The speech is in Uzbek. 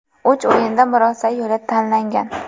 Uch o‘yinda murosa yo‘li tanlangan.